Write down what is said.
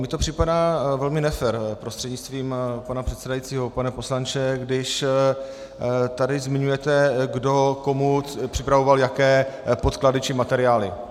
Mně to připadá velmi nefér, prostřednictvím pana předsedajícího pane poslanče, když tady zmiňujete, kdo komu připravoval jaké podklady či materiály.